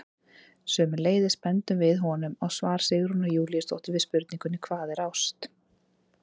Sömuleiðis bendum við honum á svar Sigrúnar Júlíusdóttur við spurningunni Hvað er ást?